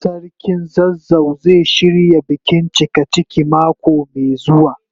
Sarkin zazzau zai shirya bikin cikaciki mako mai zuwa.